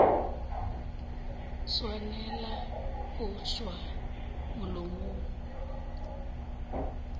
a swanela go tšwa molomong